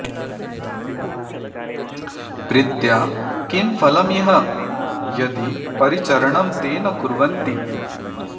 प्रीत्या किं फलमिह यदि परिचरणं ते न कुर्वन्ति